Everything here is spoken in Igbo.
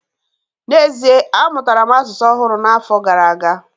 N'ezie, amụtara m asụsụ ọhụrụ n'afọ gara aga